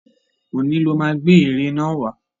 Òní lọ má gbé ère náà wà.